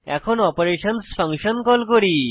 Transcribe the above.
এখন অপারেশনসহ function call করি